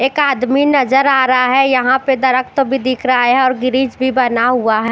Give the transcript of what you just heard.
एक आदमी नज़र आरा है यहा पे दरक्त भी दिखरा है और गिरिज भी बना हुआ ह--